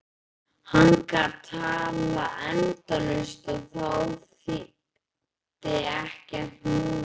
Hann gat talað endalaust og þá þýddi ekkert múður.